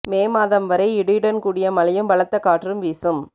மே மாதம் வரை இடியுடன் கூடிய மழையும் பலத்த காற்றும் வீசும்